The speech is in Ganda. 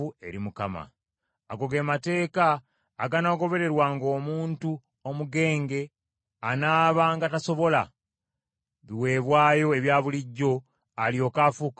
Ago ge mateeka aganaagobererwanga omuntu omugenge anaabanga tasobola biweebwayo ebya bulijjo, alyoke afuuke omulongoofu.”